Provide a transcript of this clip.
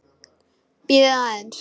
Bíðið aðeins.